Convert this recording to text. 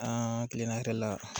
An kilela hɛrɛ la